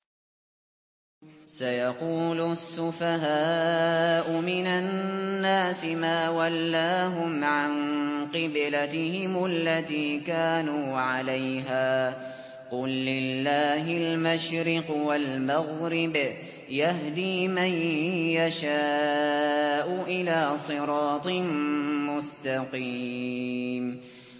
۞ سَيَقُولُ السُّفَهَاءُ مِنَ النَّاسِ مَا وَلَّاهُمْ عَن قِبْلَتِهِمُ الَّتِي كَانُوا عَلَيْهَا ۚ قُل لِّلَّهِ الْمَشْرِقُ وَالْمَغْرِبُ ۚ يَهْدِي مَن يَشَاءُ إِلَىٰ صِرَاطٍ مُّسْتَقِيمٍ